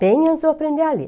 Bem antes de eu aprender a ler.